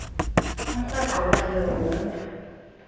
umrweqe wayo yoonda